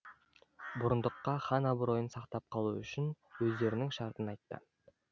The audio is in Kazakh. бұрындыққа хан абыройын сақтап қалу үшін өздерінің шартын айтты